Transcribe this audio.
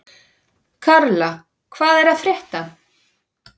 Karla, hvað er að frétta?